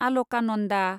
Alaknanda